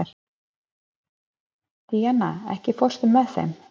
Díanna, ekki fórstu með þeim?